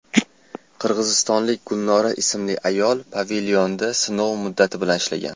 Qirg‘izistonlik Gulnora ismli ayol pavilyonda sinov muddati bilan ishlagan.